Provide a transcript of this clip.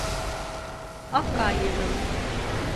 акаевым